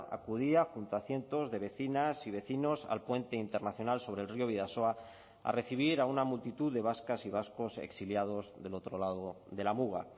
acudía junto a cientos de vecinas y vecinos al puente internacional sobre el río bidasoa a recibir a una multitud de vascas y vascos exiliados del otro lado de la muga